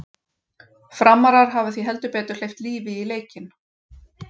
Framarar hafa því heldur betur hleypt lífi í leikinn!